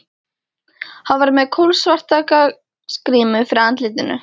Hann var með kolsvarta gasgrímu fyrir andlitinu.